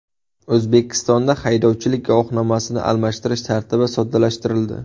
O‘zbekistonda haydovchilik guvohnomasini almashtirish tartibi soddalashtirildi .